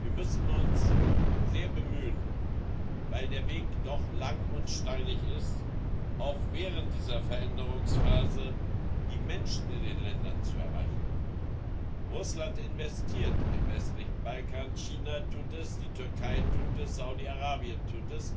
Wir müssen uns sehr bemühen, weil der Weg doch lang und steinig ist, auch während dieser Veränderungsphase die Menschen in den Ländern zu erreichen. Russland investiert im westlichen Balkan, China tut das, die Türkei tut das, Saudi Arabien tut